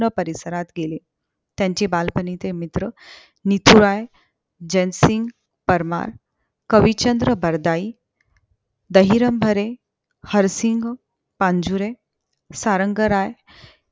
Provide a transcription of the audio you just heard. विस्तीर्ण परिसरात गेले त्यांचे बालपणीचे मित्र मिथुराय, जयसिंग परमार, कविचंद्र बरदाई, दहिरंग भरे, हरसिंह पांजुरे, सारंग राय